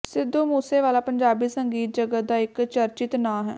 ਸਿੱਧੂ ਮੂਸੇ ਵਾਲ਼ਾ ਪੰਜਾਬੀ ਸੰਗੀਤ ਜਗਤ ਦਾ ਇੱਕ ਚਰਚਿਤ ਨਾਂ ਹੈ